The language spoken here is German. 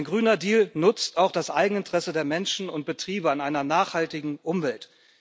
Ein Grüner Deal nutzt auch das Eigeninteresse der Menschen und Betriebe an einer nachhaltigen Umwelt.